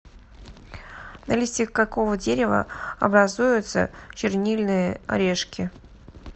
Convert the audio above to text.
на листьях какого дерева образуются чернильные орешки